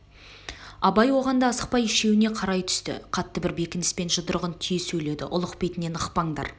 абай оған да асықпай үшеуіне қарай түсті қатты бір бекініспен жұдырығын түйе сөйледі ұлық бетінен ықпаңдар